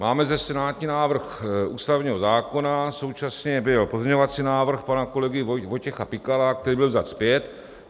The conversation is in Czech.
Máme zde senátní návrh ústavního zákona, současně byl pozměňovací návrh pana kolegy Vojtěcha Pikala, který byl vzat zpět.